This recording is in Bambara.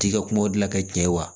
T'i ka kumaw dilan ka ɲɛ wa